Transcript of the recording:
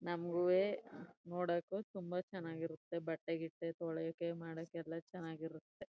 ನಮ್ಮಗುವೆ ನೋಡೋಕು ತುಂಬಾ ಚೆನ್ನಾಗಿರುತ್ತೆ ಬಟ್ಟೆ ಗಿಟ್ಟೆ ತೊಳಿಯೋಕೆ ಮಾಡೋಕೆ ಎಲ್ಲ ಚೆನ್ನಾಗಿರುತ್ತೆ.